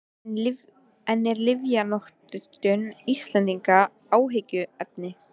En er lyfjanotkun Íslendinga áhyggjuefni?